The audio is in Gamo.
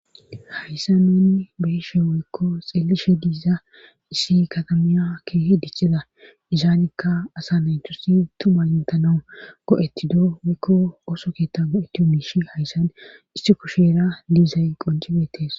hayssa nuni beeshe woykko xeelishe diiza issi katamiya ke hi dichida izaanikka asa naynthusi tumantanau go7ettidoo wekko oso keetta go7etti oomiishi hayssan issi kusheera liizay qoncibetees